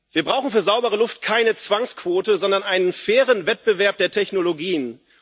Wir brauchen für saubere Luft keine Zwangsquote, sondern einen fairen Wettbewerb der Technologien.